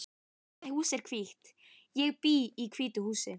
Þetta hús er hvítt. Ég bý í hvítu húsi.